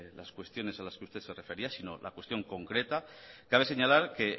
las cuestiones a las que usted se refería sino la cuestión concreta cabe señalar que